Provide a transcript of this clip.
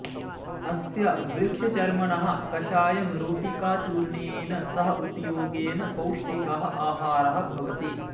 अस्य वृक्षचर्मणः कषायं रोटिकाचूर्णेन सह उपयोगेन पौष्टिकः आहारः भवति